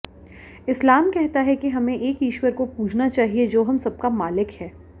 इस्लाम कहता है कि हमें एक ईश्वर को पूजना चाहिए जो हम सबका मालिक हैं